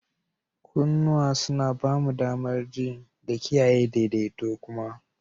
Kunnuwa suna ba mu damar ji da kiyaye daidaito kuma.